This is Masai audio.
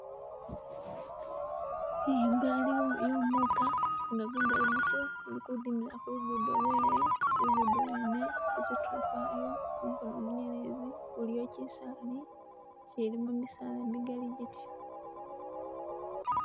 Iyi igaali y'omuka nga gu gali gutyo guli ku dimila kulugudo lwalyo lugudo lwene kuzitulo kwayo mukono munyelezi kuliyo kisaali ikilimo misaala migaali gityo.